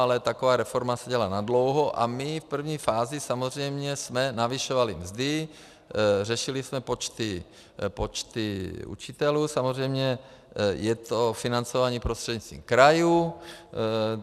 Ale taková reforma se dělá nadlouho a my v první fázi samozřejmě jsme navyšovali mzdy, řešili jsme počty učitelů, samozřejmě je to financování prostřednictvím krajů.